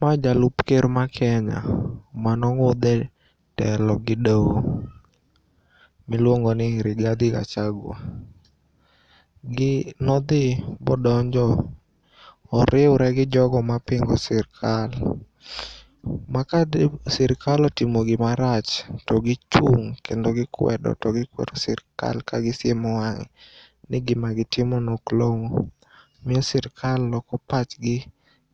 Ma jalup ker ma Kenya manong'udhe telo gi doho miluongoni Rigadhi Gachagua. Nodhi bodonjo, oriure gi jogo mapingo sirkal ma kade sirkal otimo gimarach to gichung' kendo gikwedo to gikwero sirkal ka gisiemo wang'e ni gima gitimono ok long'o. Miyo sirkal loko pachgi